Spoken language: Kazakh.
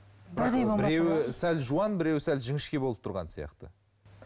біреуі сәл жуан біреуі сәл жіңішке болып тұрған сияқты